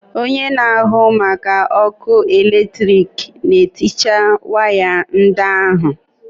Onye na-ahụ maka ọkụ eletrik na-ehicha waya ndị ahụ.